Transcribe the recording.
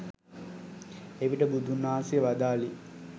එවිට බුදුන් වහන්සේ වදාළේ